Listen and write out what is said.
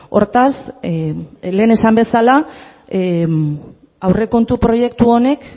hortaz lehen esan bezala aurrekontu proiektu honek